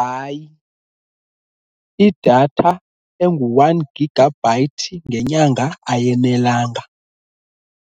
Hayi, idatha engu-one gigabyte ngenyanga ayenelanga